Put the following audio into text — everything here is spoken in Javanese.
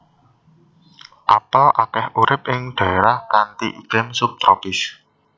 Apel akéh urip ing dhaérah kanthi iklim sub tropis